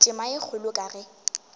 tema ye kgolo ka ge